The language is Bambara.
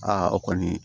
Aa o kɔni